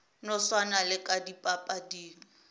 no swana le ka dipapading